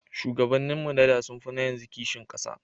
Shugabannin mu na da sun fi na yanzu kishin ƙasa